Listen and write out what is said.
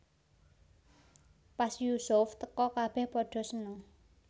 Pas Yusuf teka kabèh padha seneng